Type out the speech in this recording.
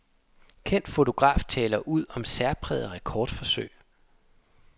Kendt fotograf taler ud om særpræget rekordforsøg.